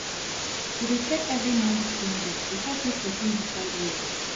to dey check every month spending the help make person decide well